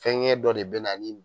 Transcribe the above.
Fɛngɛn dɔ de be na ni